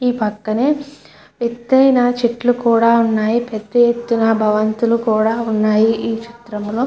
ఈ పక్కనే ఎత్తైన చెట్లు కూడా ఉన్నాయి. పెద్ద ఎత్తున భవంతులు కూడా ఉన్నాయి. ఈ చిత్రంలో--